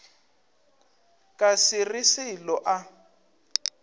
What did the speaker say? ka se re selo a